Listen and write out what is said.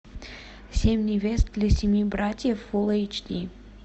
семь невест для семи братьев фул эйч ди